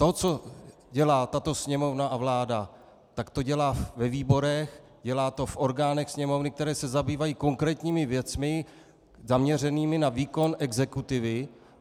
To, co dělá tato Sněmovna a vláda, tak to dělá ve výborech, dělá to v orgánech Sněmovny, které se zabývají konkrétními věcmi zaměřenými na výkon exekutivy.